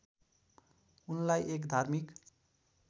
उनलाई एक धार्मिक